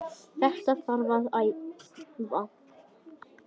Þetta þarf að æfa.